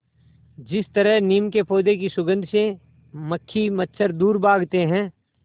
जिस तरह नीम के पौधे की सुगंध से मक्खी मच्छर दूर भागते हैं